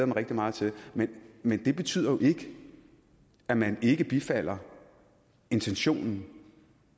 mig rigtig meget til men men det betyder jo ikke at man ikke bifalder intentionen og